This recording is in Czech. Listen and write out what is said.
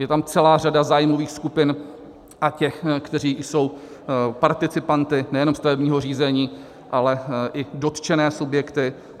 Je tam celá řada zájmových skupin a těch, kteří jsou participanty nejenom stavebního řízení, ale i dotčené subjekty.